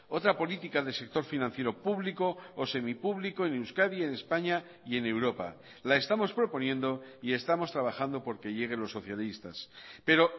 otra política del sector financiero público o semipúblico en euskadi en españa y en europa la estamos proponiendo y estamos trabajando porque llegue los socialistas pero